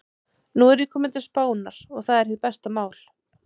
Nú er ég kominn til Spánar. og það er hið besta mál.